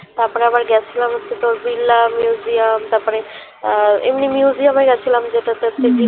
তারপরে আবার গেছিলাম হচ্ছে তো বিল্লা museum তারপরে আহ এমনি museum এ গেছিলাম জেটাতে তোর